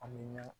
An bɛ ɲa